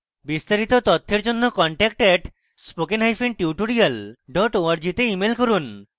বিস্তারিত তথ্যের জন্য contact @spokentutorial org তে ইমেল করুন